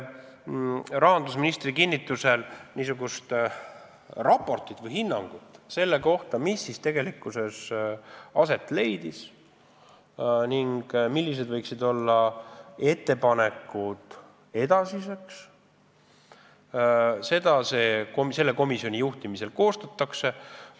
Rahandusministri kinnitusel raportit või hinnangut selle kohta, mis siis tegelikkuses aset leidis ning millised võiksid olla ettepanekud edasiseks, komisjoni juhtimisel koostatakse.